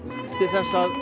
til þess að